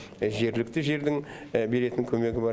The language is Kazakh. жергілікті жердің беретін көмегі бар